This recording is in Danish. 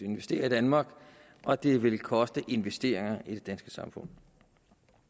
investere i danmark og det vil koste investeringer i det danske samfund